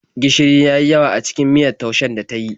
Gishiri ya yi yawa a cikin miyar taushen da ta yi.